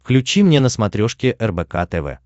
включи мне на смотрешке рбк тв